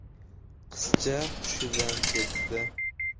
Qizcha hushidan ketdi.